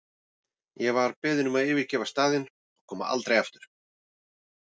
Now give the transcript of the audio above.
Ég var beðin um að yfirgefa staðinn og koma aldrei aftur.